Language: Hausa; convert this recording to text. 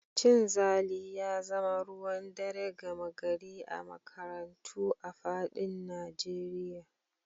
Cin zali ya zama ruwan dare gama gari a makarantu a faɗin Najeriya